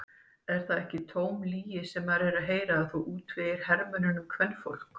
Er það ekki tóm lygi sem maður er að heyra að þú útvegir hermönnunum kvenfólk?